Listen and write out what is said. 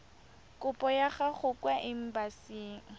kopo ya gago kwa embasing